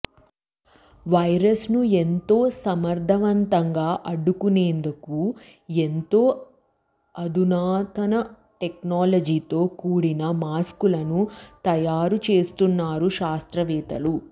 virus ను ఎంతో సమర్థవంతంగా అడ్డుకునేందుకు ఎంతో అధునాతన టెక్నాలజీతో కూడిన మాస్క్ లను తయారుచేస్తున్నారు శాస్త్రవేత్తలు